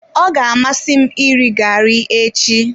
Ọ ga-amasị m iri gari echi.